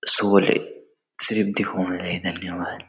सुवलें सिर्फ दिखोण ले धन्यवाद।